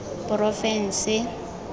porofense